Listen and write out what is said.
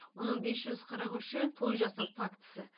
оның бес жүз қырық үші той жасау фактісі